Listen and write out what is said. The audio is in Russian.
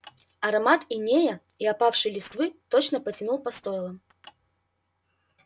аромат инея и опавшей листвы точно потянул по стойлам